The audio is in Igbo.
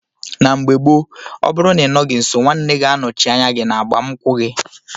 Na mgbe gbo ọbụrụ na inọghi nso nwanne ga anọchi anya gi na agbam nkwu gi.